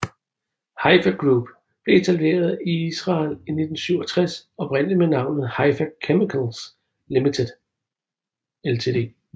Haifa Group blev etableret i Israel i 1967 oprindeligt med navnet Haifa Chemicals Ltd